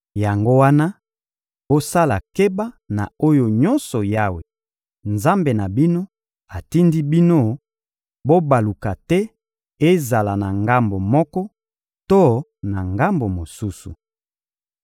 Yango wana, bosala keba na oyo nyonso Yawe, Nzambe na bino, atindi bino; bobaluka te ezala na ngambo moko to na ngambo mosusu.